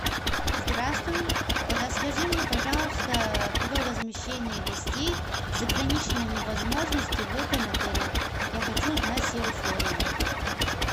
здравствуй расскажи мне пожалуйста про размещение гостей с ограниченными возможностями в этом отеле я хочу знать все условия